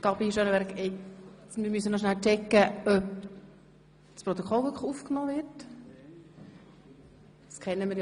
Wir müssen noch schnell checken, ob für das Protokoll wirklich aufgenommen wird.